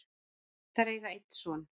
Þær eiga einn son.